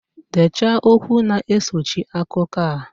Dechaa okwu na-esochi akụkọ a!